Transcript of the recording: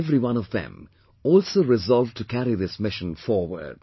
Each and every one of them also resolved to carry this mission forward